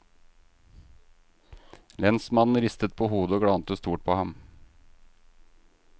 Lensmannen ristet på hodet og glante stort på ham.